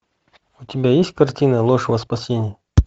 у тебя есть картина ложь во спасение